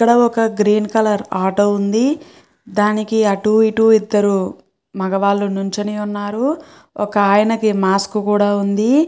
ఇక్కడ ఒక green colour auto ఉంది దానికి అటూ ఇటూ ఇద్దరు మగవాళ్ళు నుంచని ఉన్నారు ఒక ఆయనకి మాస్కు కూడా ఉంది.